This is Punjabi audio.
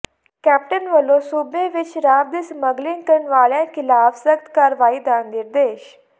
ਕੈਪਟਨ ਵਲੋਂ ਸੂਬੇ ਵਿਚ ਸ਼ਰਾਬ ਦੀ ਸਮਗਲਿੰਗ ਕਰਨ ਵਾਲਿਆਂ ਖਿਲਾਫ ਸਖਤ ਕਾਰਵਾਈ ਦੇ ਨਿਰਦੇਸ਼